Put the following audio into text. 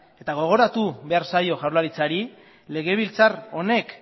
eta gogortu behar zaio jaurlaritzari legebiltzar honek